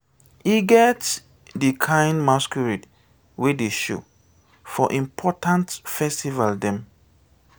e get di kain masqurade wey dey show for important festival dem.